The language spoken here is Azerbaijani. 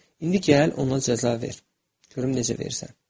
İndi gəl ona cəza ver, görüm necə verirsən.